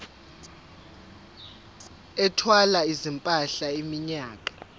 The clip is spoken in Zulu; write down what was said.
ethwala izimpahla iminyaka